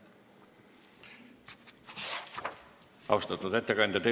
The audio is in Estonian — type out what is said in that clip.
Austatud ettekandja!